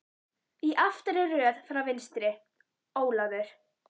Í aftari röð frá vinstri: Ólafur